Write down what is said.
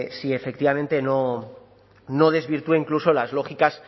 si efectivamente no desvirtúa incluso las lógicas